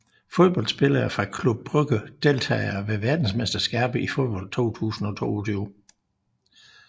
Fodboldspillere fra Club Brugge Deltagere ved verdensmesterskabet i fodbold 2022